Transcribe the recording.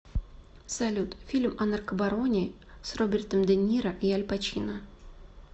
салют фильм о наркобароне с робертом де ниро и аль пачино